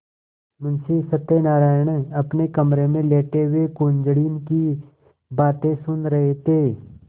मुंशी सत्यनारायण अपने कमरे में लेटे हुए कुंजड़िन की बातें सुन रहे थे